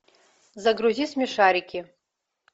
загрузи смешарики